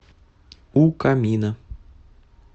у камина